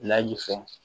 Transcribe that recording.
Layi fɛ